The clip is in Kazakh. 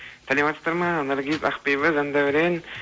саламатсыздар ма наргиз ақбибі жандәурен